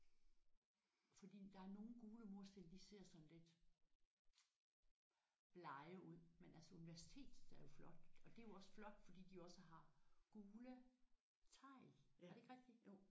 Fordi der er nogle gule mursten de ser sådan lidt blege ud men altså universitetets er jo flotte og det er jo også flot fordi de jo også har gule tegl er det ikke rigtigt?